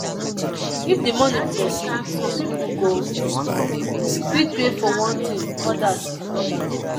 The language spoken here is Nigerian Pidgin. if the money plenty some people go fit pay for one thingothers another